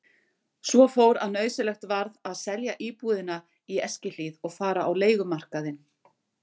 Svo fór að nauðsynlegt varð að selja íbúðina í Eskihlíð og fara á leigumarkaðinn.